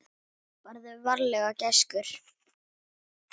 Farðu varlega gæskur.